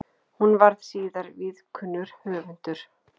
Hún varð síðar víðkunnur höfundur.